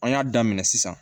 An y'a daminɛ sisan